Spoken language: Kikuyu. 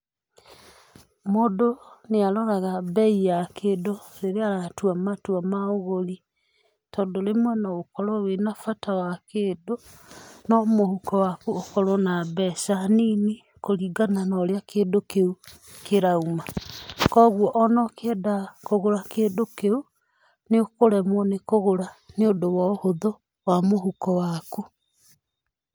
Mũndũ nĩ aroraga mbei ya kĩndũ rĩrĩa aratua matua ma ũgũri. Tondũ rĩmwe no ũkorwo wina bata wa kĩndũ, no mũhuko waku ũkorwo na mbeca nini, kuringana na ũrĩa kũndũ kĩu kĩrauma. Kogwo ona ũkienda kũgũra kĩndũ kĩu nĩ ũkũremwo nĩ kũgũra nĩ ũndũ wa ũhuthũ wa mũhuko waku.